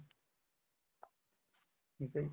ਠੀਕ ਆ ਜੀ